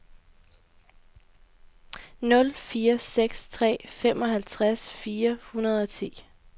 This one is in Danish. nul fire seks tre femoghalvtreds fire hundrede og ti